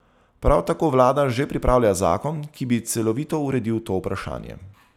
Prav tako vlada že pripravlja zakon, ki bi celovito uredil to vprašanje.